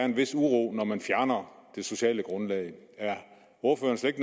en vis uro når man fjerner det sociale grundlag er ordføreren slet